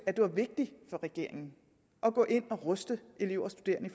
at det var vigtigt for regeringen at gå ind og ruste elever og studerende